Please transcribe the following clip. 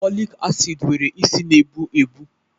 Folic acid nwere isi na-egbu egbu